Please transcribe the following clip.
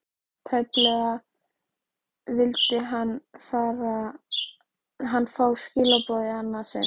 Tæpast vildi hann fá skilaboðin í annað sinn.